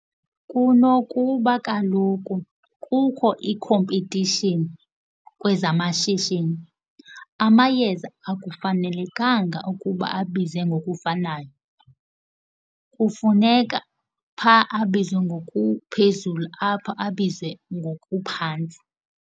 Kunokuba kaloku kukho ikhompetishini kwezamashishini, amayeza akufanelekanga ukuba abize ngokufanayo. Kufuneka phaa abizwe ngokuphezulu apha abize ngokuphantsi.